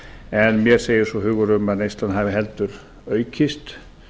en mér segir svo hugur um að neyslan hafi heldur aukist